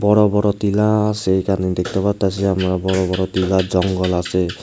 বড় বড় টিলা আসে এইখানে দেখতে পারতাসি আমরা বড় বড় টিলার জঙ্গল আসে।